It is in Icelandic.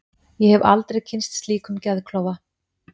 Ég hef aldrei kynnst slíkum geðklofa.